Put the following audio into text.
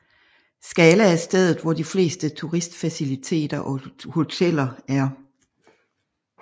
Skala er stedet hvor de fleste turistfaciliteter og hoteller er